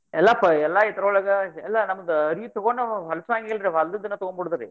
ಎಲ್ಲಪ್ಪ ಎಲ್ಲ ಇದ್ರೊಳಗ ಅಲ್ಲ ನಮಗ್ ಅರ್ಬಿ ತೊಗೊಂಡ್ ಹೊಲಸಾಂಗಿಲ್ರಿ, ಹೊಲ್ದಿದ್ದನ್ನ ತೊಗೊಂಡ್ ಬಿಡುದ್ರಿ.